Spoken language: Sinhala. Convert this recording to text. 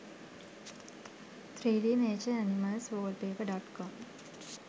3d nature animals wallpaper.com